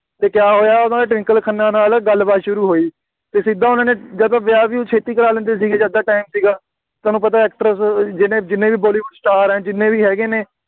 ਅਤੇ ਕਿਆ ਹੋਇਆ ਉਹਨਾ ਦੀ ਟਵਿੰਕਲ ਖੰਨਾ ਨਾਲ ਗੱਲਬਾਤ ਸ਼ੁਰੂ ਹੋਈ, ਅਤੇ ਸਿੱਧਾ ਉਹਨਾ ਨੇ, ਜਦੋਂ ਵਿਆਹ-ਵਿਹੂ ਛੇਤੀ ਕਰਵਾ ਲੈਂਦੇ ਸੀਗੇ ਜਦ ਤਾਂ time ਸੀਗਾ, ਤੁਹਾਨੂੰ ਪਤਾ actress ਜਿੰਨੇ, ਜਿੰਨੇ ਵੀ ਬਾਲੀਵੁੱਡ star ਆ, ਜਿੰਨੇ ਵੀ ਹੈਗੇ ਨੇ,